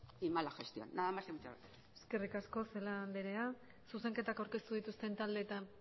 y mala gestión nada más y muchas gracias eskerrik asko celaá andrea zuzenketak aurkeztu dituzten taldeetara